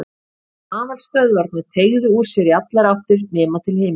Og aðalstöðvarnar teygðu úr sér í allar áttir nema til himins.